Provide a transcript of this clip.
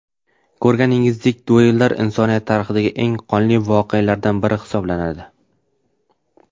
Ko‘rganingizdek, duellar insoniyat tarixidagi eng qonli voqealardan biri hisoblanadi.